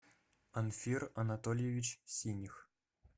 анфир анатольевич синих